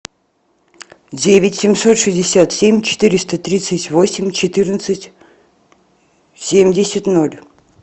девять семьсот шестьдесят семь четыреста тридцать восемь четырнадцать семьдесят ноль